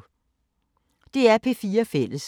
DR P4 Fælles